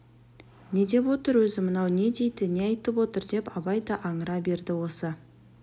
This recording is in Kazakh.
не деп отыр өзі мынау не дейді не айтып отыр деп абай да аңыра берді осы